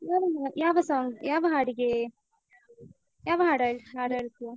ಯಾವ ಹಾ, ಯಾವ song , ಯಾವ ಹಾಡಿಗೇ ಯಾವ ಹಾಡ್ ಹಾಡ್, ಹಾಡ್ ಹಾಡ್ತೀಯ?